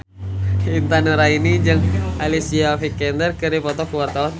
Intan Nuraini jeung Alicia Vikander keur dipoto ku wartawan